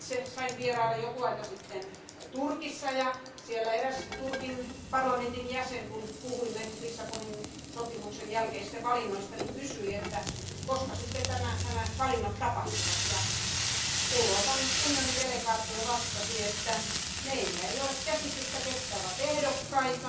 Sain vierailla jokin aika sitten Turkissa ja siellä eräs Turkin parlamentin jäsen kysyi, kun puhuimme Lissabonin sopimuksen jälkeisistä valinnoista, että koska nämä valinnat sitten tapahtuvat, ja Euroopan unionin delegaatio vastasi, että meillä ei ole käsitystä ketkä ovat ehdokkaina,